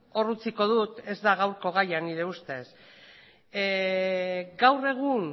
hor utziko dut ez da gaurko gaia nire ustez gaur egun